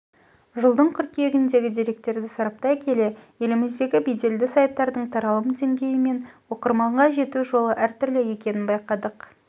жылдың қыркүйегіндегі деректерді сараптай келе еліміздегі беделді сайттардың таралым деңгейі мен оқырманға жету жолы әртүрлі екенін байқадық